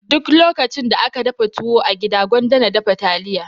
Duk lokacin da aka dafa tuwo a gida gwanda na dafa taliya.